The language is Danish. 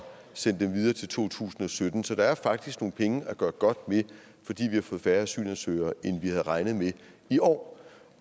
sende dem videre til to tusind og sytten så der er faktisk nogle penge at gøre godt med fordi vi har fået færre asylansøgere end vi havde regnet med i år